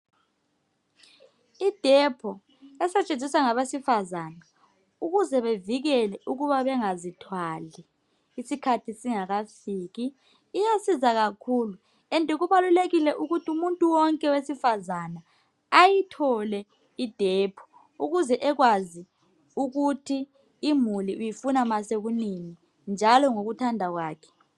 I depo esetshenziswa ngabesifazana ukuze bevikele ukuba bengazithwali isikhathi singakafiki. Iyasisiza kakhulu njalo kubalulekile ukuthi umuntu wonke wesifazana ayithole I depo ukuze ekwazi ukuthi imuli uyifuna sekunini njalo ngokuthanda kwakhe.